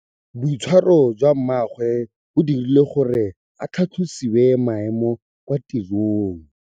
Boitshwaro jwa mmagwe bo dirile gore a tlhatlosiwe maemo kwa tirong.